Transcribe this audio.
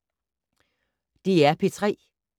DR P3